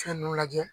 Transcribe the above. Fɛn ninnu lajɛ